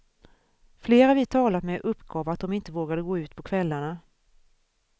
Flera vi talat med uppgav att de inte vågade gå ut på kvällarna.